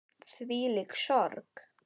Þvílík sorg.